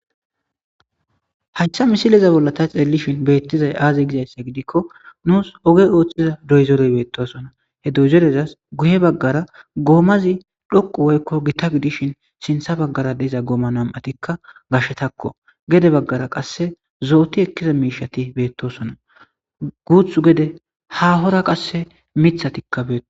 hachcha misileza bollata xeellishin beettizay aazi gizayssa gidikko nuus oge ooththiza doyzorey beettosona he dozerezas guye baggara goomazi dhoqu woykko gita gidishin sintha baggara deiza gooma nam7atikka gashetakko gede baggara qasse zooti ekkiza miishati beettosona guuthu gede hahora qasse mithatikka beeto